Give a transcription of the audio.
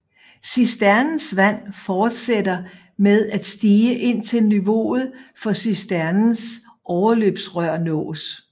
Cisternens vand fortsætter med at stige indtil niveauet for cisternens overløbsrør nås